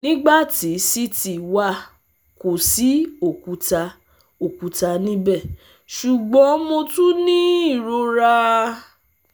nigbati CT wa ko si okuta okuta nibẹ ṣugbọn Mo tun ni irora